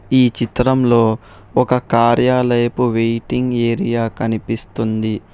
ఈ చిత్రంలో ఒక కార్యాలైపు వెయిటింగ్ ఏరియా కనిపిస్తుంది.